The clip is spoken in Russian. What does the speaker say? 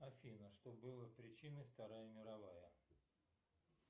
афина что было причиной вторая мировая